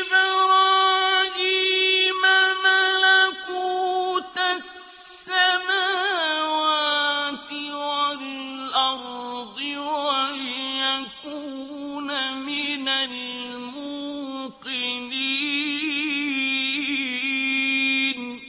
إِبْرَاهِيمَ مَلَكُوتَ السَّمَاوَاتِ وَالْأَرْضِ وَلِيَكُونَ مِنَ الْمُوقِنِينَ